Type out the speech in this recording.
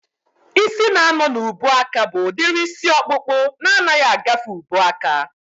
Ịsị na-anọ n'ubuaka bụ udiri isi ọkpụkpụ na anaghị agafe ubuaka